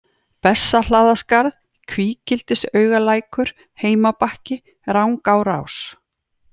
Bessahlaðaskarð, Kvígildisaugalækur, Heimabakki, Rangáarrás